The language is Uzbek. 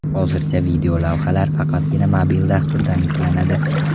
Hozircha videolavhalar faqatgina mobil dasturdan yuklanadi.